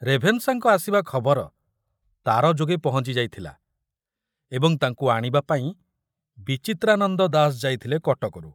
ରେଭେନଶାଙ୍କ ଆସିବା ଖବର ତାର ଯୋଗେ ପହଞ୍ଚିଯାଇଥିଲା ଏବଂ ତାଙ୍କୁ ଆଣିବା ପାଇଁ ବିଚିତ୍ରାନନ୍ଦ ଦାସ ଯାଇଥିଲେ କଟକରୁ।